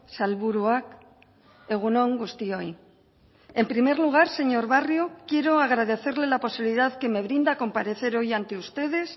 sailburuak egun on guztioi en primer lugar señor barrio quiero agradecerle la posibilidad que me brinda a comparecer hoy ante ustedes